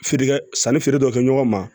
Feere kɛ sanni feere dɔ kɛ ɲɔgɔn ma